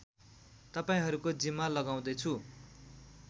तपाईँहरूको जिम्मा लगाउँदै छु